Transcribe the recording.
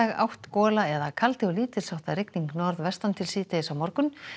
átt gola eða kaldi og lítils háttar rigning norðvestan til síðdegis á morgun